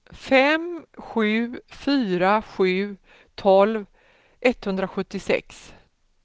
fem sju fyra sju tolv etthundrasjuttiosex